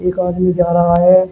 एक आदमी जा रहा है।